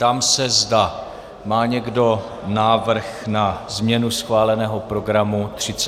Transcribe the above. Ptám se, zda má někdo návrh na změnu schváleného programu 33. schůze.